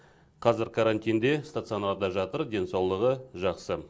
қазір карантинде стационарда жатыр денсаулығы жақсы